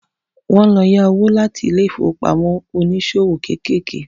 Wọ́n ń lọ yá owó láti ilé ìfowópamọ́ oníṣòwò kéékèèké